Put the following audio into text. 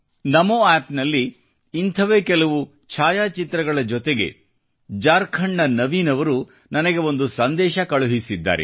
ನಮೋ ಆಪ್ನಲ್ಲಿ ಇಂಥವೇ ಕೆಲವು ಛಾಯಾ ಚಿತ್ರಗಳ ಜೊತೆಗೆ ಜಾರ್ಖಂಡ್ನ ನವೀನ್ ಅವರು ನನಗೆ ಒಂದು ಸಂದೇಶ ಕಳುಹಿಸಿದ್ದಾರೆ